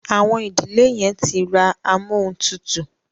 Àwọn ìdílé yen tí rá Amóhuntutù.